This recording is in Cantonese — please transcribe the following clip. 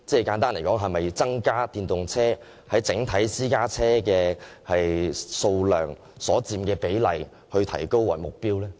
簡單來說，是否以提升電動車在私家車整數量中所佔的比例為目標？